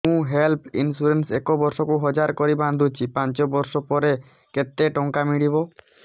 ମୁ health insurance ଏକ ବର୍ଷକୁ ହଜାର କରି ବାନ୍ଧୁଛି ପାଞ୍ଚ ବର୍ଷ ପରେ କେତେ ଟଙ୍କା ମିଳିବ